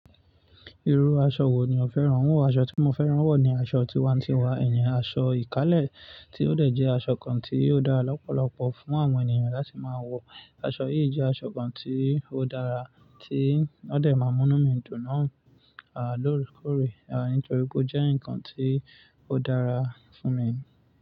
Irú aṣọ wo ni o féràn? Iru awón aṣọ tí mo féràn wọ̀ ni aṣọ tiwantiwa, ìyẹn aṣọ ìkálẹ̀ tí ó dẹ̀ jẹ́ aṣọ kan tí ó dára lọ́pọ̀lọpọ̀ fún àwọn ènìyàn láti máa wọ̀. Aṣọ yìí jẹ́ aṣọ kan tí ó dára tí ó dẹ̀ máa mú mí ń dùn nà án lóòrèkóòrè, nítorí pé ó jẹ́ ǹkan tí ó dára fún mi.